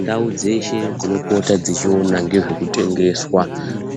Ndau dzeshe dzinopota dzichiona nezvekutengeswa